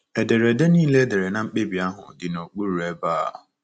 Ederede nile e mere na mkpebi ahụ dị n’okpuru ebe a.